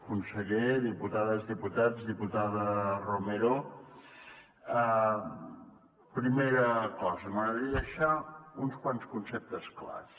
conseller diputades diputats diputada romero primera cosa m’agradaria deixar uns quants conceptes clars